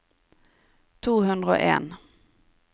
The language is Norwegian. to hundre og en